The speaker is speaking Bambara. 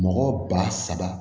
Mɔgɔ ba saba